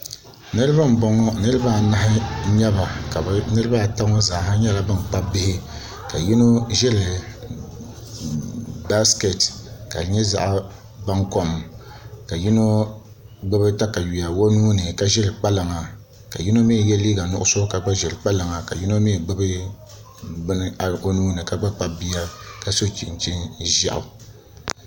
Niraba n bɔŋɔ niraba anahi n nyɛba niraba ata ŋɔ zaa nyɛla ban kpabi bihi ka yino ʒiri baskɛt ka di nyɛ zaɣ baŋkom ka yino gbubi katawiya o nuuni ka ʒiri kpalaŋa ka yino mii yɛ liiga nuɣso ka gba ʒiri kpalaŋa ka yino gba kpabi bia ka gbubi bini o nuuni ka so chinchin ʒiɛɣu